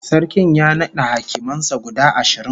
Sarkin ya nada hakiman sa guda ashirin